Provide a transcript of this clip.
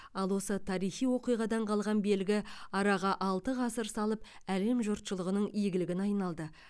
ал осы тарихи оқиғадан қалған белгі араға алты ғасыр салып әлем жұртшылығының игілігіне айналды